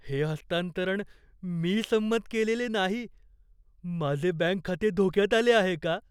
हे हस्तांतरण मी संमत केलेले नाही. माझे बँक खाते धोक्यात आले आहे का?